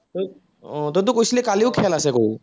আহ তইতো কৈছিলি কালিও খেল আছে বুলি